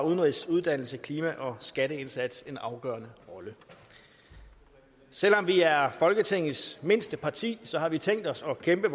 udenrigs uddannelses klima og skatteindsats en afgørende rolle selv om vi er folketingets mindste parti har vi tænkt os at kæmpe